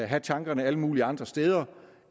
have tankerne alle mulige andre steder